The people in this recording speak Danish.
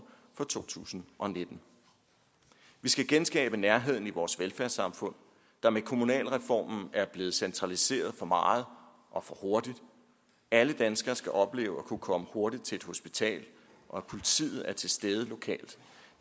for to tusind og nitten vi skal genskabe nærheden i vores velfærdssamfund der med kommunalreformen er blevet centraliseret for meget og for hurtigt alle danskere skal opleve at kunne komme hurtigt til et hospital og at politiet er til stede lokalt